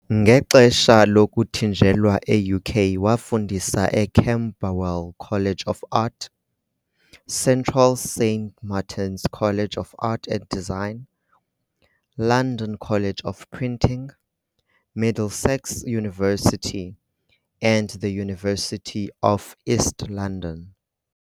Ngexesha lokuthinjelwa e-UK wafundisa eCamberwell College of Art, Central Saint Martins College of Art and Design, London College of Printing, Middlesex University and the University of East London.